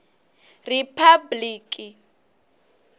riphabliki